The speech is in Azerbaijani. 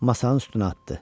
Masanın üstünə atdı.